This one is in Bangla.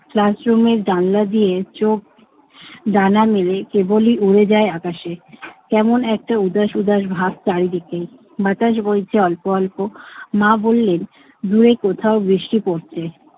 classroom এর জানালা দিয়ে চোখ ডানা মেলে কেবলই উড়ে যায় আকাশে। কেমন একটা উদাস উদাস ভাব চারিদিকে। বাতাস বইছে অল্প অল্প। মা বললেন দূরে কোথাও বৃষ্টি পড়ছে।